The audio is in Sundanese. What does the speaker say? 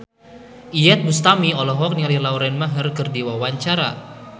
Iyeth Bustami olohok ningali Lauren Maher keur diwawancara